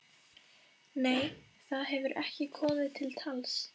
Nei, það hefur ekki komið til tals.